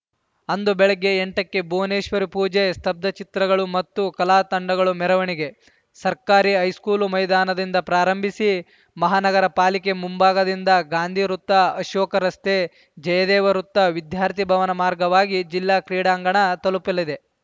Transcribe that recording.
ಅಂದು ಬೆಳಗ್ಗೆ ಎಂಟಕ್ಕೆ ಭುವನೇಶ್ವರಿ ಪೂಜೆ ಸ್ತಬ್ಧ ಚಿತ್ರಗಳು ಮತ್ತು ಕಲಾ ತಂಡಗಳ ಮೆರವಣಿಗೆ ಸರ್ಕಾರಿ ಹೈಸ್ಕೂಲ್‌ ಮೈದಾನದಿಂದ ಪ್ರಾರಂಭಿಸಿ ಮಹಾನಗರ ಪಾಲಿಕೆ ಮುಂಭಾಗದಿಂದ ಗಾಂಧಿ ವೃತ್ತ ಅಶೋಕ ರಸ್ತೆ ಜಯದೇವ ವೃತ್ತ ವಿದ್ಯಾರ್ಥಿ ಭವನ ಮಾರ್ಗವಾಗಿ ಜಿಲ್ಲಾ ಕ್ರೀಡಾಂಗಣ ತಲುಪಲಿದೆ